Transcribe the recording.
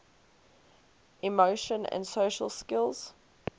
emotion and social skills